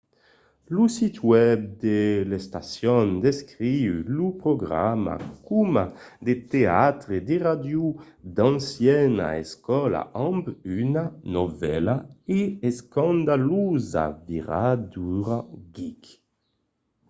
lo sit web de l'estacion descriu lo programa coma de teatre de ràdio d'anciana escòla amb una novèla e escandalosa viradura geek!